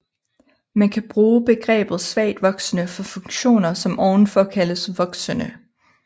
Man kan bruge begrebet svagt voksende for funktioner som ovenfor kaldes voksende